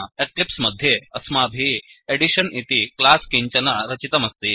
Eclipse मध्ये अस्माभिः edition इति क्लास् किञ्चन रचितमस्ति